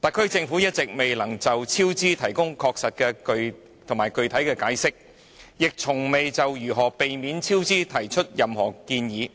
特區政府一直未能確實具體地解釋超支原因，亦從未提出任何建議